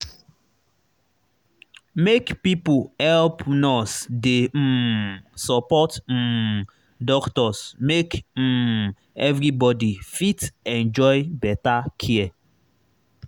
make pipo help nurse dey um support um doctors make um everybody fit enjoy better care.